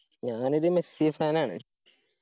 ഞാൻ ഇത് Messi fan ആണ്.